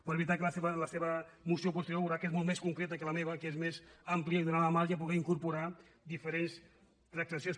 però de veritat que la seva moció posterior veurà que és molt més concreta que la meva que és més àmplia i donava marge a poder incorpo·rar diferents transaccions